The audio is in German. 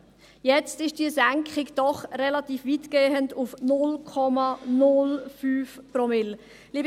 Jetzt ist diese Senkung doch relativ weitgehend auf 0,05 Promille.